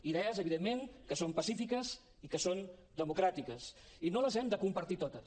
idees evidentment que són pacífiques i que són democràtiques i no les hem de compartir totes